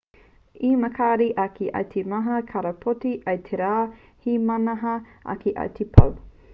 he makariri ake i te mata karapoti i te rā he mahana ake i te pō